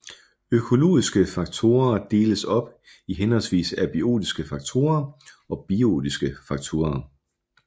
Økologiske faktorer deles op i henholdsvis abiotiske faktorer og biotiske faktorer